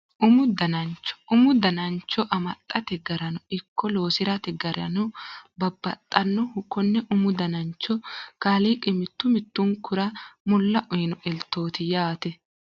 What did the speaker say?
Umu danancho umu danancho amaxxate garano ikko loosirate garino babbaxxannoho konne umu danancho kaaliiqi mittu mittunkura mulla uyino eltooti yaate